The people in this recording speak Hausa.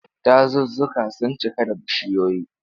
Dazuzzuka sun cika da bishiyoyi.